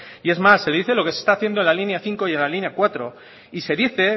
y es más se le dice lo que se está haciendo en la línea cinco y en la línea cuatro y se dice